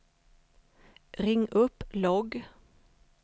ring upp logg